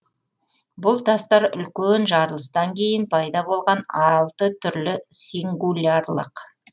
бұл тастар үлкен жарылыстан кейін пайда болған алты түрлі сингулярлық